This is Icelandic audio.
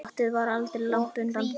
Glottið var aldrei langt undan.